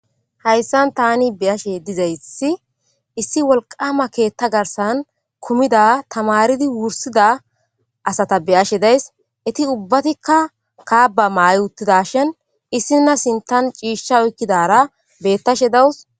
hayssan tani beashe dizaysi issi wolqama keetta garsan kumida tamaridi wursida asata beyashe days iti ubbatikka kaaba maay uttida shin issina sintan ciishsha oykkidara bettashe dawus